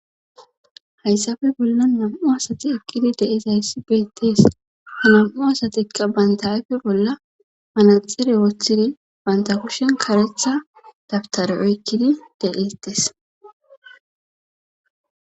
hayssafe bollan nam7u asati eqqidi de7ezayssi beettees nam7u asatika baynta afe bolla manaxire woththidi banta kushen karetha dabtare oykkidi de'etes